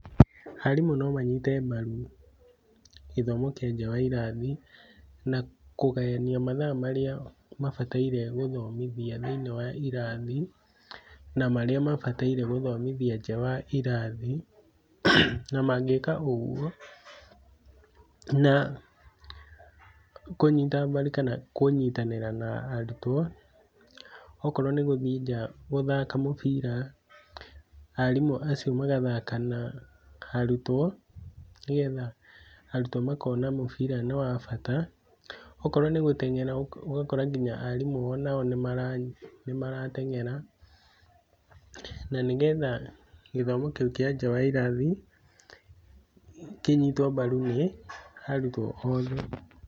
Arimũ no manyite mbaru gĩthomo kĩa njaa wa irathi, na kũgayania mathaa marĩa mabataire gũthomithia thĩiniĩ wa irathi, na marĩa mabataire gũthomithia njaa wa irathi, na mangĩka ũguo na kũnyita mbaru kana kũnyitanĩra na arutwo. Okorwo nĩ gũthii njaa gũthaka mũbira, arimũ acio magathaka na arutwo, nĩgetha arutwo makona mũbira nĩ wa bata, okorwo nĩ gũteng'era ũgakora arimũ onao nĩmarateng'era, na nĩgetha gĩthomo kĩu kĩanja wa irathi kĩnyitwo mbaru nĩ arutwo othe.